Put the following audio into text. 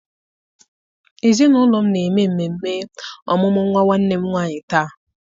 Ezinụlọ m na-eme mmemme ọmụmụ nwa nwanne m nwanyị taa.